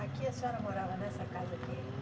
Aqui a senhora morava nessa casa aqui?